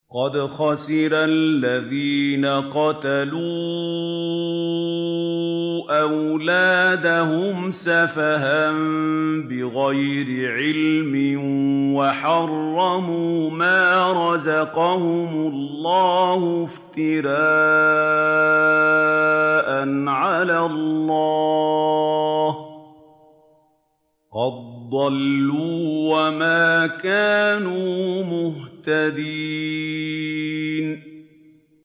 قَدْ خَسِرَ الَّذِينَ قَتَلُوا أَوْلَادَهُمْ سَفَهًا بِغَيْرِ عِلْمٍ وَحَرَّمُوا مَا رَزَقَهُمُ اللَّهُ افْتِرَاءً عَلَى اللَّهِ ۚ قَدْ ضَلُّوا وَمَا كَانُوا مُهْتَدِينَ